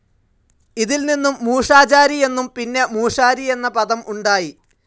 ഇതിൽ നിന്നും മൂശാചാരി എന്നും, പിന്നെ മൂശാരി എന്ന പദം ഉണ്ടായി.